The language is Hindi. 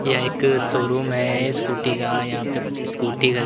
यह एक शोरूम है स्कूटी का यहां पे कुछ स्कूटी --